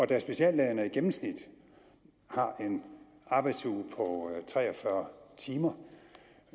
da speciallægerne i gennemsnit har en arbejdsuge på tre og fyrre timer